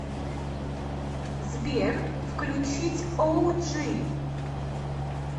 сбер включить оуджи